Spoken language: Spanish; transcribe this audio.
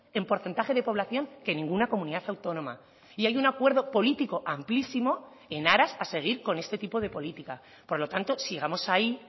en porcentaje de población que ninguna comunidad autónoma y hay un acuerdo político amplísimo en aras a seguir con este tipo de política por lo tanto sigamos ahí